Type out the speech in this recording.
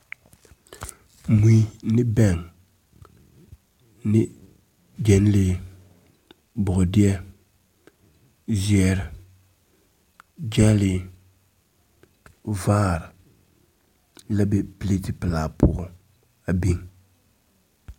Mui ne bɛŋ ne gyenlee, bɔɔdeɛ, zeɛre, gyɛlee, vaare la be pileti pelaa poɔŋ a biŋ.